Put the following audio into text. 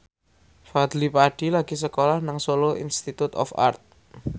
Fadly Padi lagi sekolah nang Solo Institute of Art